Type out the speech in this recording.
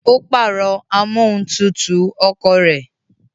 Ó pàrọ̀ amóhuntutù ọkọ̀ rẹ̀